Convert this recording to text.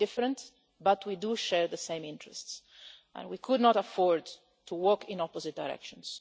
We are different, but we do share the same interests and we could not afford to walk in opposite directions.